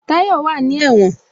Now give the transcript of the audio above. Tayọ wá ní ẹ̀wọ̀n